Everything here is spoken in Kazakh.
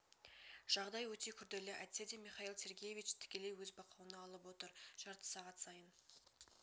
жағдай өте күрделі әйтсе де михаил сергеевич тікелей өз бақылауына алып отыр жарты сағат сайын